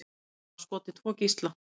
Segist hafa skotið tvo gísla